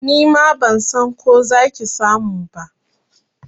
Nima ban san ko za ki samu ba.